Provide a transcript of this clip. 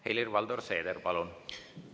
Helir-Valdor Seeder, palun!